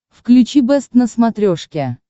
включи бэст на смотрешке